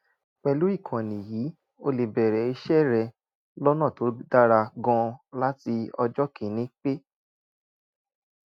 pẹ̀lú ìkànnì yìí o lè bẹ̀rẹ̀ iṣẹ́ rẹ lọ́nà tó dára gan-an láti ọjọ́ kìíní kí